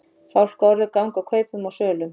Fálkaorður ganga kaupum og sölum